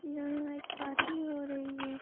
यहाँ एक पार्टी हो रही है |